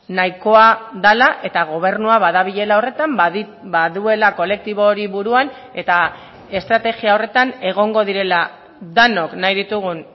nahikoa dela eta gobernua badabilela horretan baduela kolektibo hori buruan eta estrategia horretan egongo direla denok nahi ditugun